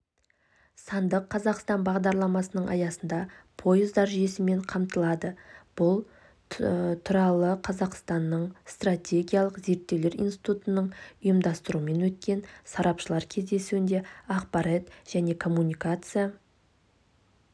сандық қазақстан бағдарламасының аясында пойыздар жүйесімен қамтылады бұл туралықазақстанның стратегиялық зерттеулер институтының ұйымдастыруымен өткен сарапшылар кездесуінде ақпарат және коммуникация